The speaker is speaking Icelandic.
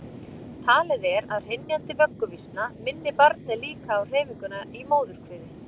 Talið er að hrynjandi vögguvísna minni barnið líka á hreyfinguna í móðurkviði.